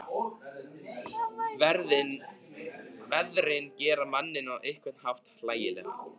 Veðrin gera manninn á einhvern hátt hlægilegan.